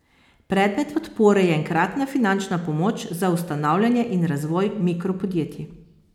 Predmet podpore je enkratna finančna pomoč za ustanavljanje in razvoj mikropodjetij.